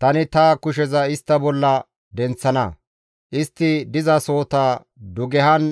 Tani ta kusheza istta bolla denththana; istti dizasohota dugehan